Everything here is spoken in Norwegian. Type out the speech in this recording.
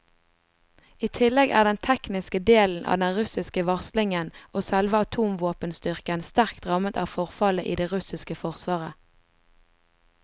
I tillegg er den tekniske delen av den russiske varslingen og selve atomvåpenstyrken sterkt rammet av forfallet i det russiske forsvaret.